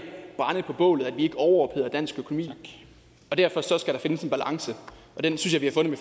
brænde på bålet og at vi ikke overopheder dansk økonomi og derfor skal der findes en balance og den synes